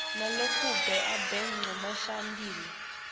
nalokabuye abe ngumgcinisihlalo